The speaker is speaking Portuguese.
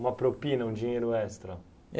Uma propina, um dinheiro extra.